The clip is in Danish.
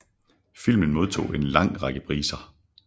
Filmen modtog en lang række priser